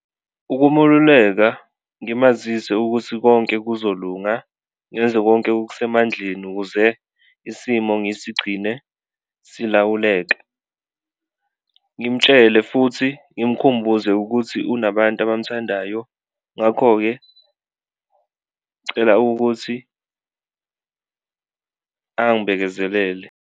Ukumeluleka ngimazise ukuthi konke kuzolunga ngenze konke okusemandleni ukuze isimo ngisigcine silawuleka, ngimtshele futhi ngimkhumbuze ukuthi unabantu abamthandayo ngakho-ke, cela ukuthi angibekezelele.